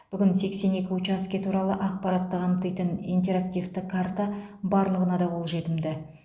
бүгін сексен екі учаске туралы ақпаратты қамтитын интерактивті карта барлығына да қолжетімді